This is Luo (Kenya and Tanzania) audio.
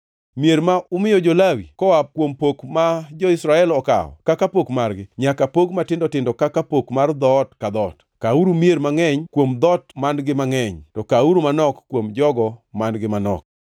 Mier ma umiyo jo-Lawi koa kuom piny ma jo-Israel okawo kaka pok margi nyaka pog matindo tindo kaka pok mar dhoot ka dhoot: Kawuru mier mangʼeny kuom dhoot man-gi mangʼeny, to kawuru manok kuom jogo man-gi manok.”